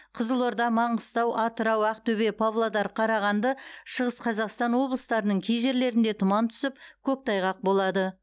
қызылорда маңғыстау атырау ақтөбе павлодар қарағанды шығыс қазақстан облыстарының кей жерлерінде тұман түсіп көктайғақ болады